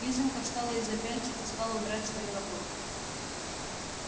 лизанька встала из-за пяльцев и стала убирать свою работу